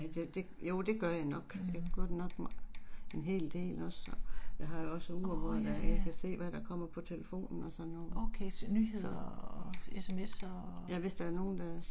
Mh. Årh ja, ja. Okay, så nyheder og SMS'er og?